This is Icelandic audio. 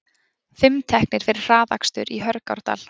Fimm teknir fyrir hraðakstur í Hörgárdal